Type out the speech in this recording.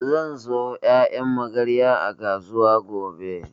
Zan sayo ƴaƴan magarya a kasuwa gobe